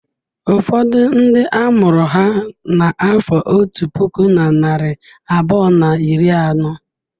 Ụfọdụ ndị a mụrụ ha n'afọ otu puku na narị abụọ na iri anọ.